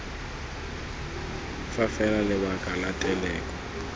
fa fela lebaka la teleko